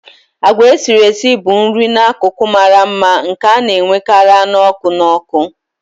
Agwa esiri esi bụ nri n'akụkụ mara mma nke a na-enwekarị anụ ọkụ n'ọkụ.